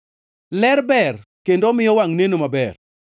Ler ber kendo omiyo wangʼ neno maber.